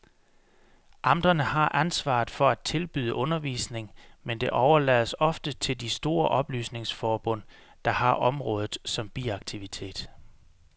Amterne har ansvaret for at tilbyde undervisning, men det overlades ofte til de store oplysningsforbund, der har området som biaktivitet.